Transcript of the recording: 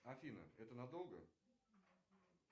афина это надолго